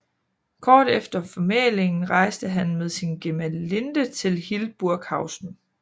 Kort efter formælingen rejste han med sin gemalinde til Hildburghausen